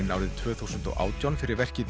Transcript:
árið tvö þúsund og átján fyrir verkið